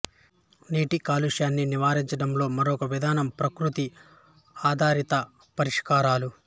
నీటి కాలుష్యాన్ని నివారించడంలో మరొక విధానం ప్రకృతి ఆధారిత పరిష్కారాలు